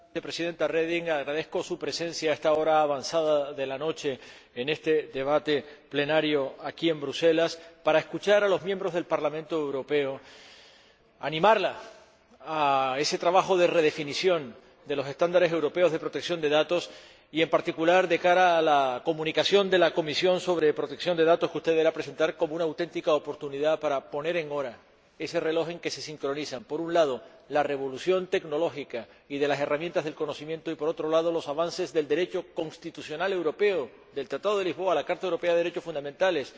Señora Reding, agradezco su presencia a esta hora avanzada de la noche en este debate plenario aquí, en Bruselas, para escuchar a los miembros del Parlamento Europeo y deseo animarla en ese trabajo de redefinición de los estándares europeos de protección de datos y, en particular, de cara a la Comunicación de la Comisión sobre protección de datos que usted debe presentar como una auténtica oportunidad para poner en hora ese reloj en que se sincronizan, por un lado, la revolución tecnológica y de las herramientas del conocimiento y, por otro, los avances del Derecho constitucional europeo, del Tratado de Lisboa a la Carta Europea de los Derechos Fundamentales,